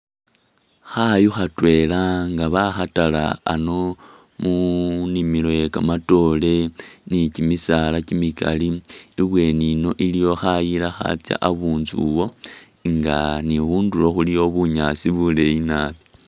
Khayu khatwela nga bahatala ano mu nimilo ye kamatoore ni kimisaala kimikali, ibweni ino iliwo khayila khatsya abunzuwo nga ni khundulo khulikho bunyaasi buleeyi nabi.